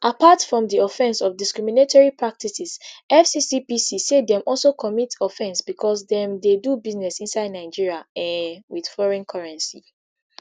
apart from di offence of discriminatory practices fccpc say dem also commit offence because dem dey do business inside nigeria um wit foreign currency